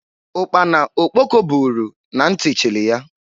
Ukpana okpoko buuru na nti chili ya.